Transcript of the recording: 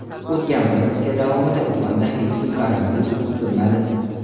O‘tgan bir sutka davomida Uxanda hech kim koronavirus yuqtirmadi.